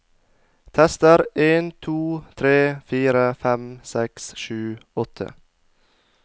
Tester en to tre fire fem seks sju åtte